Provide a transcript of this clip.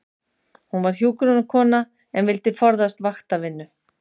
Hún var hjúkrunarkona en vildi forðast vaktavinnu.